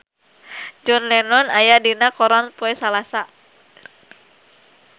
John Lennon aya dina koran poe Salasa